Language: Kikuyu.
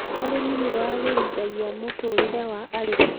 Ũrĩmi nĩ waagirithamia mutuurire wa arĩmi.